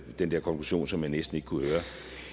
den der konklusion som man næsten ikke kunne høre